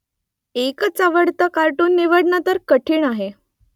एकच आवडतं कार्टून निवडणं तर कठिण आहे